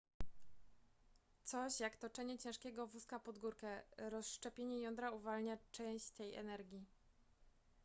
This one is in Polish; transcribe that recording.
coś jak toczenie ciężkiego wózka pod górkę rozszczepienie jądra uwalnia część tej energii